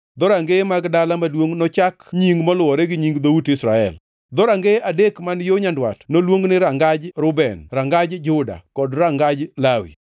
dhorangeye mag dala maduongʼ nochak nying moluwore gi nying dhout Israel. Dhorangeye adek man yo nyandwat noluong ni rangaj Reuben, rangaj Juda kod rangaj Lawi.